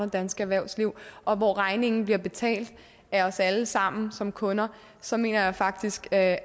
danske erhvervsliv og hvor regningen bliver betalt af os alle sammen som kunder så mener jeg faktisk at